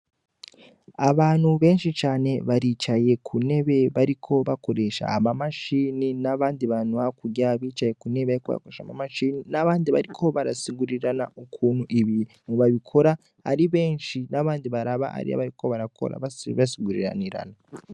Abantu benshi cane baricaye kuntebe bariko bakoresha ama mashini nabandi bantu hakurya bicaye kuntebe bariko bakoresha ama mashini nabandi bantu bariko barasigurirana ukuntu ibintu babikora Ari benshi nabandi bantu baraba ivyo bari gukora basigurinirana.